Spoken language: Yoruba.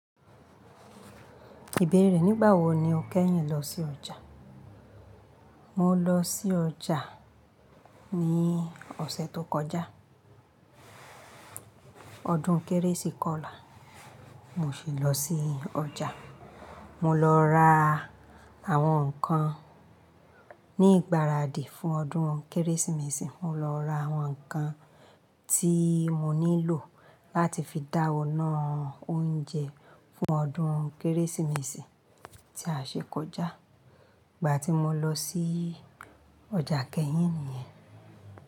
Ìbéèrè rẹ nígbà wo ni o kẹ́yìn lọ sí ọjà? Mo lọ sí ọjà ní ọ̀sẹ̀ tó kọjá. Ọdún kérésì kọlà mo sì lọ sí ọjà. Mo lọ ra àwọn nǹkan ní ìgbáradì fún ọdún Kérésìmesì. Mo lọ ra àwọn nǹkan tí mo nílò láti fi dáwọn ináà oúnjẹ fún ọdún Kérésìmesì tí a ṣe kọjá. Ìgbà tí mo lọ sí ọjà kẹ́yìn nìyẹn.